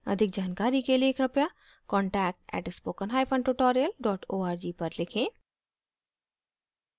अधिक जानकारी के लिए कृपया contact at spoken hyphen tutorial dot org पर लिखें